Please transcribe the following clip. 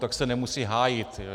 Tak se nemusí hájit.